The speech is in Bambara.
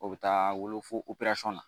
O bɛ taa wolo fo na